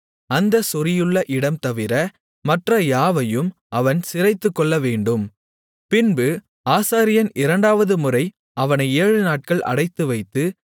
அந்தச் சொறியுள்ள இடம்தவிர மற்ற யாவையும் அவன் சிரைத்துக்கொள்ளவேண்டும் பின்பு ஆசாரியன் இரண்டாவதுமுறை அவனை ஏழுநாட்கள் அடைத்துவைத்து